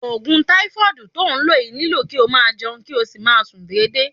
Ogun taifoodi to n lo yii nilo ki o maa jeun, kio si maa sun dede.